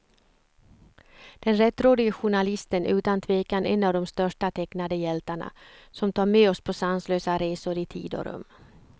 Den rättrådige journalisten är utan tvekan en av de största tecknade hjältarna, som tar med oss på sanslösa resor i tid och rum.